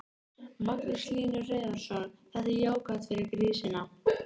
Magnús Hlynur Hreiðarsson: Þetta er jákvætt fyrir grísina?